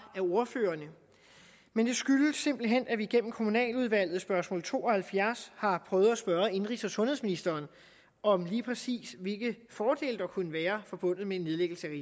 af ordførerne men det skyldes simpelt hen at vi gennem kommunaludvalget spørgsmål to og halvfjerds har prøvet at spørge indenrigs og sundhedsministeren om lige præcis hvilke fordele der kunne være forbundet med en nedlæggelse